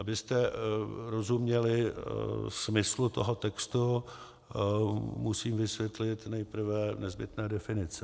Abyste rozuměli smyslu toho textu, musím vysvětlit nejprve nezbytné definice.